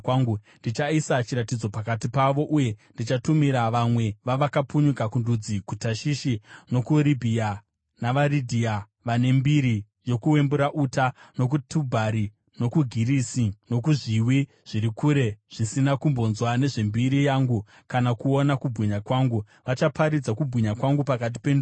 “Ndichaisa chiratidzo pakati pavo, uye ndichatumira vamwe vavakapunyuka kundudzi, kuTashishi, nokuvaRibhiya navaRidhia (vane mbiri yokuwembura uta), nokuTubhari nokuGirisi, nokuzviwi zviri kure zvisina kumbonzwa nezvembiri yangu kana kuona kubwinya kwangu. Vachaparidza kubwinya kwangu pakati pendudzi.